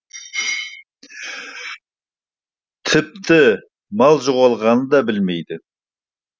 тіпті мал жоғалғанын да білмейді